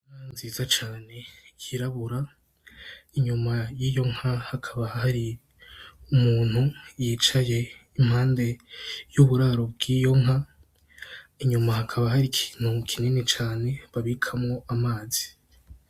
Inka nziza cane yirabura inyuma yiyo nka hakaba hari umuntu yicaye impande y'uburaro bwiyonka inyuma hakaba hari ikintu kinini cane babikamwo amazi.